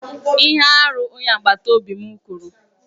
Ihe arụ, onye agbata obi m kwuru.